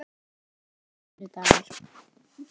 sunnudagur